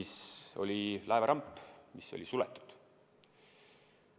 See oli laeva ramp, mis oli suletud.